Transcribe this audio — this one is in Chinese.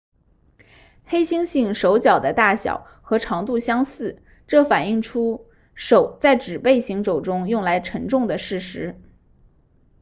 黑猩猩手脚的大小和长度相似这反映出手在指背行走中用来承重的事实